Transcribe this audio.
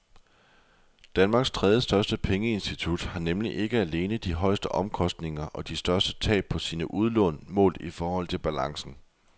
Danmarks tredjestørste pengeinstitut har nemlig ikke alene de højeste omkostninger og de største tab på sine udlån målt i forhold til balancen.